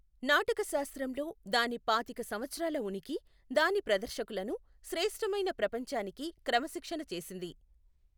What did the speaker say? నాటకశాస్త్రం లో దాని పాతిక సంవత్సరాల ఉనికి, దాని ప్రదర్శకులను శ్రేష్ఠమైన ప్రపంచానికి క్రమశిక్షణ చేసింది.